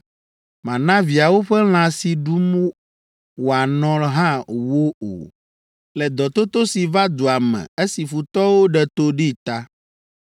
Mana viawo ƒe lã si ɖum wòanɔ hã wo o, le dɔtoto si va dua me esi futɔwo ɖe to ɖee ta.